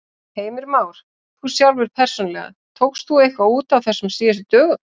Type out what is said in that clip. Heimir Már: Þú sjálfur persónulega, tókst þú eitthvað út á þessum síðustu dögum?